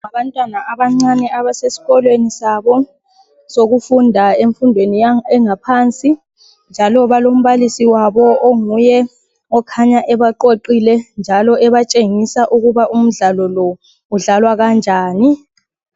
Abantwana abancane, abasesikolweni sabo. Sokufunda, emfundweni ephansi, njalo balombalisi wabo. Okhanya ebaqoqile, onguye obafundisa ukuba umdlalo lo, udlalwa kanjani.